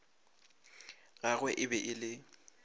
gagwe e be e le